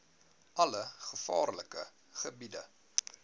alle gevaarlike gebiede